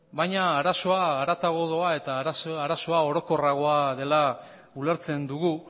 baina arazoa harago doa eta arazoa orokorragoa dela ulertzen dugu